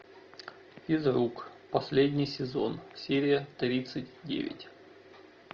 физрук последний сезон серия тридцать девять